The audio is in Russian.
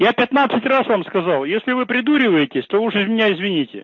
я пятнадцать раз вам сказал если вы придуриваетесь то уже меня извините